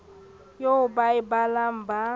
eo ba e balang ba